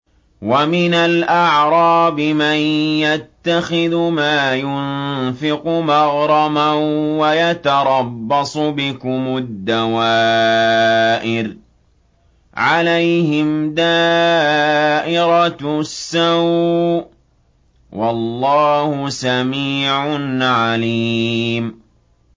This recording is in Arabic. وَمِنَ الْأَعْرَابِ مَن يَتَّخِذُ مَا يُنفِقُ مَغْرَمًا وَيَتَرَبَّصُ بِكُمُ الدَّوَائِرَ ۚ عَلَيْهِمْ دَائِرَةُ السَّوْءِ ۗ وَاللَّهُ سَمِيعٌ عَلِيمٌ